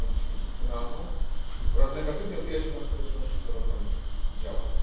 pamięć instytucjonalną, oraz negatywnie odbija się na skuteczności prowadzonych działań.